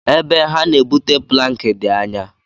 E be ha na-ebute plankị dị anyá.